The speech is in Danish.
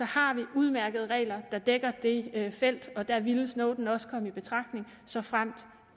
har vi udmærkede regler der dækker det felt og der ville snowden også komme i betragtning såfremt